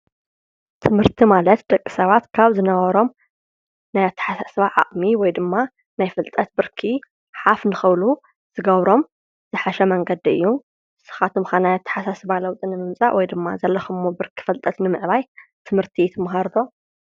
ትምህርቲ ማለት ደቂሰባት ካብ ዝነበሮም ናይ ኣተሓሳስባ ዓቅሚ ወይ ድማ ናይ ፍልጠት ብርኪ ሓፍ ንክብሉ ዝገብሮም ዝሐሽ መንገዲ እዩ። ንስካትኩም ከ ናይ ኣተሓሳስባ ለዊጢ ንምምፃእ ወይ ድማ ዘለክሞ ብርኪ ፍልጠት ንምዕባይ ትምርቲ ትመሃሩ ዶ ?